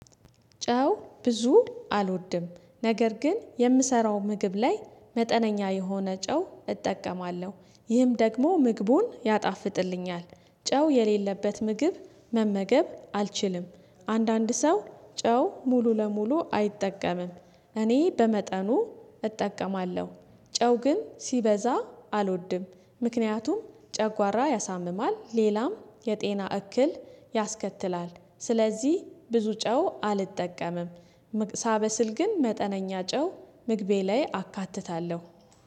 ጨው ብዙ አልወድም ነገር ግን የምሰራው ምግብ ላይ መጠነኛ የሆነ ጨው እጠቀማለሁ፤ ይህም ደግሞ ምግቡን ያጣፍጥልኛል ጨው የሌለበት ምግብ መመገብ አልችልም አንዳንድ ሰው ጨው ሙሉ ለሙሉ አይጠቀምም እኔ በመጠኑ እጠቀማለሁ ጨው ግን ሲበዛ አልወድም ምክንያቱም ጨጓራ ያሳምማል ሌላም የጤና እክል ያስከትላል ስለዚህ ብዙ ጨው አልጠቀምም፤ ሳበስል ግን መጠነኛ ጨው ምግቤ ላይ አካትታለሁ።